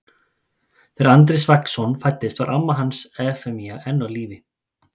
Þegar Andrés Vagnsson fæddist var amma hans Efemía enn á lífi.